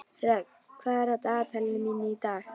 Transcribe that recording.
Rögn, hvað er í dagatalinu mínu í dag?